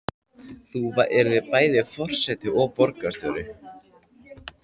Þú yrðir bæði forseti og borgarstjóri?